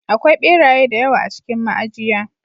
Akwai ɓeraye da yawa a cikin ma'ajiya.